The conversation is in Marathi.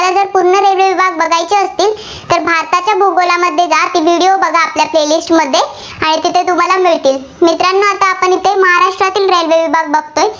आपल्या Play list मध्ये मिळतील. मित्रांनो आता आपण येथे महाराष्ट्रातील railway विभाग बघतोय.